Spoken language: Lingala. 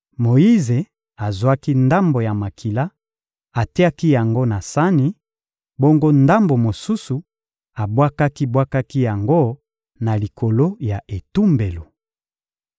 Moyize azwaki ndambo ya makila, atiaki yango na sani; bongo ndambo mosusu, abwakaki-bwakaki yango na likolo ya etumbelo.